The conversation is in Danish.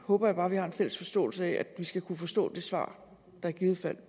håber bare at vi har en fælles forståelse af at vi skal kunne forstå det svar der i givet fald